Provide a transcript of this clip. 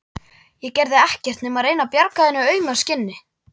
Ég gerði ekkert nema reyna að bjarga þínu auma skinni.